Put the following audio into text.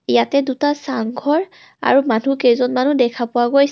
ইয়াতে দুটা চাং ঘৰ আৰু মানুহ কেইজনমনো দেখা পোৱা গৈছে.